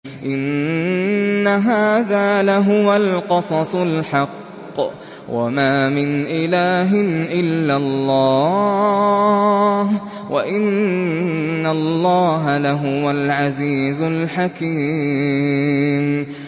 إِنَّ هَٰذَا لَهُوَ الْقَصَصُ الْحَقُّ ۚ وَمَا مِنْ إِلَٰهٍ إِلَّا اللَّهُ ۚ وَإِنَّ اللَّهَ لَهُوَ الْعَزِيزُ الْحَكِيمُ